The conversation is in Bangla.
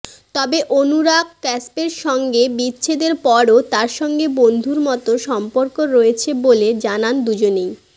তবে অনুরাগ কাশ্যপের সঙ্গে বিচ্ছেদর পরও তাঁর সঙ্গে বন্ধুর মতো সম্পর্ক রয়েছে বলে জানান দুজনেই